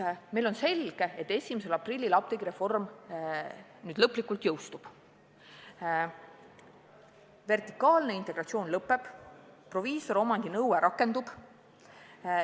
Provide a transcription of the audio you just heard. Meile on selge, et 1. aprillil apteegireform lõplikult jõustub: vertikaalne integratsioon lõpeb, proviisoriomandi nõue rakendub.